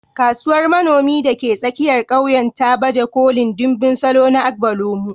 Kasuwar manomi da ke tsakiyar ƙauyen ta baje kolin ɗimbin salo na agbalumo.